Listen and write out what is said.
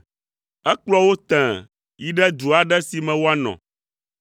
Ekplɔ wo tẽe yi ɖe du aɖe si me woanɔ.